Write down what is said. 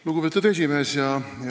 Lugupeetud esimees!